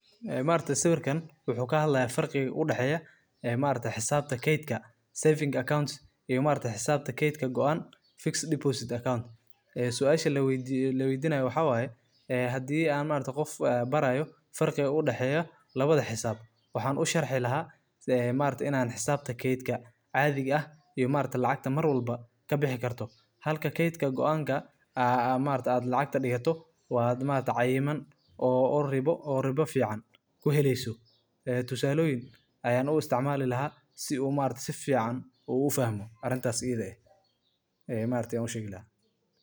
Ee maaragtay sawirkan waxuu kahadlahaya farqiq u daxeyoh Aya maaragtay xesaabta geetka saving account ee maaragtay xisabta geeska gooan fix account mise deposit account ee suash laweydinayo waxawaye handi AA maargtahay Qoof AA barayoh farqiqa u daxeeya lawada xesaab waxan u sharxi lahay ee maargtahay in xisabta keetga caaditha aah ee maargtay lacagta marwalbo kabixi kartoh Halka keetga ku anga aa maargtahay lacgta digatoh maaragtay cayiman oo rebo fican kuhelynin tusaloyin Aya u isticmali lahay si oo maargtahay sifican u fahmi arintaas I tha eeh Aya maaragtay u sheegi lahay.